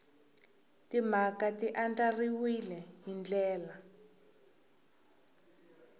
timhaka ti andlariwile hi ndlela